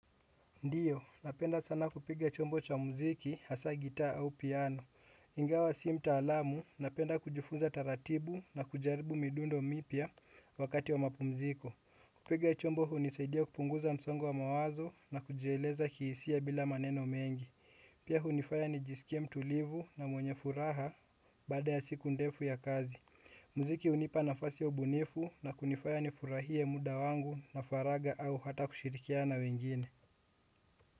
Ndiyo, napenda sana kupiga chombo cha muziki, hasa gitaa au piano. Ingawa si mtalamu, napenda kujifunza taratibu na kujaribu midundo mipya wakati wa mapumziko. Kupiga chombo hunisaidia kupunguza msongo wa mawazo na kujieleza kihisia bila maneno mengi. Pia hunifaya nijisikie mtulivu na mwenye furaha baada ya siku ndefu ya kazi. Mziki hunipa nafasi ya ubunifu na kunifanya nifurahie muda wangu na faragha au hata kushirikiana na wengine.